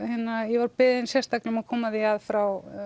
ég var beðin sérstaklega um að koma því að frá